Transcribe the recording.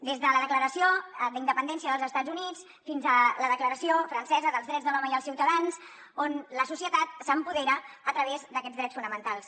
des de la declaració d’independència dels estats units fins a la declaració francesa dels drets de l’home i els ciutadans on la societat s’empodera a través d’aquests drets fonamentals